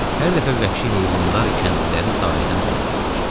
Hər dəfə vəhşi heyvanlar kəndliləri sahildən qovurdular.